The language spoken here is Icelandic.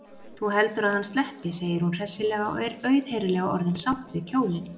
Þú heldur að hann sleppi, segir hún hressilega og er auðheyrilega orðin sátt við kjólinn.